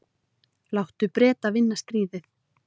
Láttu Breta vinna stríðið.